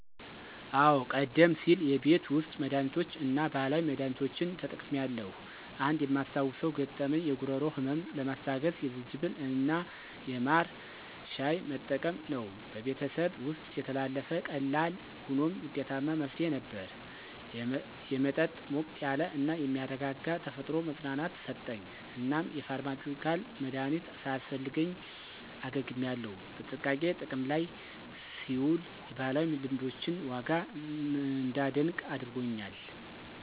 አዎ, ቀደም ሲል የቤት ውስጥ መድሃኒቶችን እና ባህላዊ መድሃኒቶችን ተጠቅሜያለሁ. አንድ የማስታውሰው ገጠመኝ የጉሮሮ ህመምን ለማስታገስ የዝንጅብል እና የማር ሻይ መጠቀም ነው። በቤተሰቤ ውስጥ የተላለፈ ቀላል ሆኖም ውጤታማ መፍትሄ ነበር። የመጠጥ ሞቅ ያለ እና የሚያረጋጋ ተፈጥሮ መፅናናትን ሰጠኝ፣ እናም የፋርማሲዩቲካል መድሀኒት ሳያስፈልገኝ አገግሜያለሁ። በጥንቃቄ ጥቅም ላይ ሲውል የባህላዊ ልምዶችን ዋጋ እንዳደንቅ አድርጎኛል.